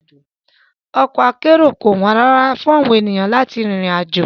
Ọkọ̀ akérò kò wọ́n rárá fún àwọn ènìyàn láti rin ìrìn àjò